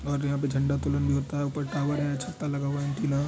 और यहाँ पे झंडा तुलन भी होता हैं ऊपर टावर है छत्ता लगा हुआ हैं एंटेना--